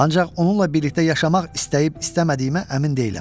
Ancaq onunla birlikdə yaşamaq istəyib-istəmədiyimə əmin deyiləm.